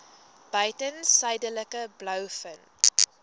buiten suidelike blouvin